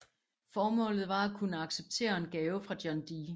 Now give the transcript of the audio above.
Formålet var at kunne acceptere en gave fra John D